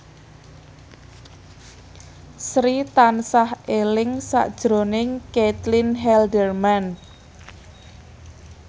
Sri tansah eling sakjroning Caitlin Halderman